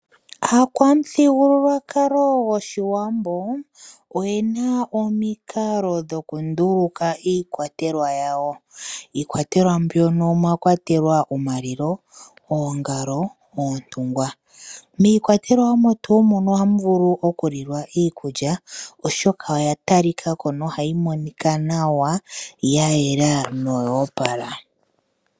Aakwamuthigululwakalo gwoshiwambo oyena omikalo dhoku nduluka iikwatelwa yawo. Iikwatelwa mbyono omwa kwatelwa omalilo, oongalo, oontungwa. Miikwatelwa omo tuu mono ohamu vulu oku lilwa iikulwa oshoka oya talikako no hayi monika nawa ya yela no ya opala.